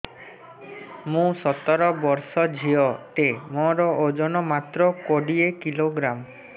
ମୁଁ ସତର ବର୍ଷ ଝିଅ ଟେ ମୋର ଓଜନ ମାତ୍ର କୋଡ଼ିଏ କିଲୋଗ୍ରାମ